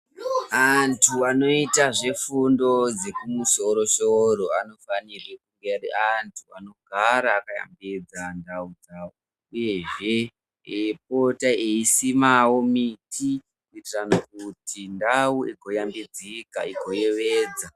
Anthu anoita zvefundo dzepamusoro soro anofanira kunge ari anthu anogara akayambidza ndau dzawo, uyezve eipota eisimawo miti, kuitira kuti ndau igoyambidzika, igoyevedza.